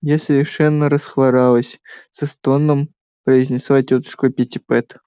я совершенно расхворалась со стоном произнесла тётушка питтипэт